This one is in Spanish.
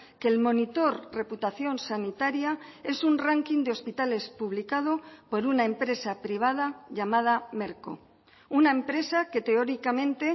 que el monitor reputación sanitaria es un ranking de hospitales publicado por una empresa privada llamada merco una empresa que teóricamente